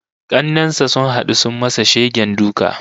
Kannen sa sun hadu sun masa shegen duka